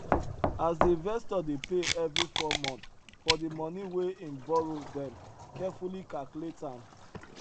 as the investor dey pay every four month for the money wey em borrow dem carefully calculate am